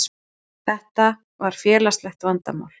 Þetta var félagslegt vandamál.